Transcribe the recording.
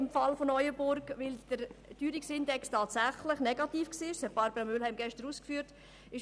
In Neuenburg war der Teuerungsindex tatsächlich negativ, wie Barbara Mühlheim gestern ausgeführt hat.